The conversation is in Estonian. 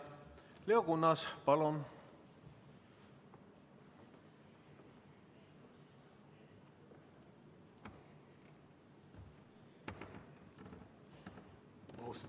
Leo Kunnas, palun!